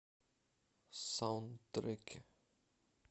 саундтреки